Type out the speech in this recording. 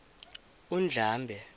undlambe